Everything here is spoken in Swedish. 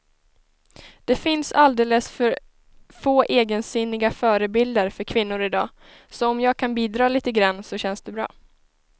Det finns alldeles för få egensinniga förebilder för kvinnor i dag, så om jag kan bidra lite grann så känns det bra.